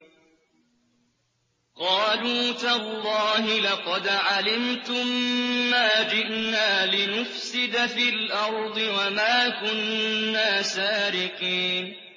قَالُوا تَاللَّهِ لَقَدْ عَلِمْتُم مَّا جِئْنَا لِنُفْسِدَ فِي الْأَرْضِ وَمَا كُنَّا سَارِقِينَ